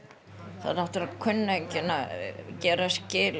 það náttúrulega kunni enginn að gera skil